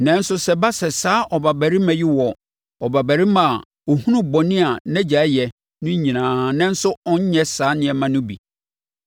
“Nanso sɛ ɛba sɛ saa ɔbabarima yi wɔ ɔbabarima a ɔhunu bɔne a nʼagya yɛ no nyinaa nanso ɔnnyɛ saa nneɛma no bi: